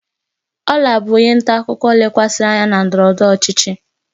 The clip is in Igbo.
Ola bụ onye nta akụkọ lekwasịrị anya na ndọrọ ndọrọ ọchịchị.